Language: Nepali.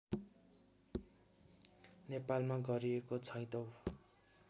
नेपालमा गरिएको छैटौँ